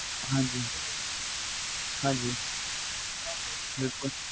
ਹਾਜੀ ਹਾਜੀ